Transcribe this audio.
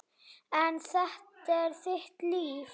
En þetta er þitt líf.